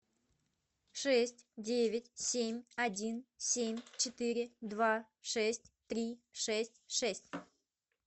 шесть девять семь один семь четыре два шесть три шесть шесть